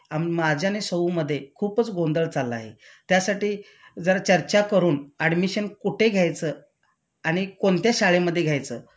माझ्या आणि सौ मध्ये खूपच गोंधळ चाललाय त्यासाठी जरा चर्चा करून ऍडमिशन कुठे घ्यायचं आणि कोणत्या शाळेमध्ये घ्यायचं